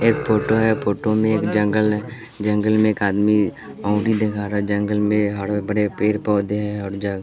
एक फोटो है फोटो में एक जंगल है जंगल में एक आदमी उंगली दिखा रहा है जंगल में हरे भरे पेड़ पौधे हैं और जं--